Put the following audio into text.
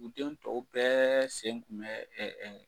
U den tɔw bɛɛ sen kun bɛ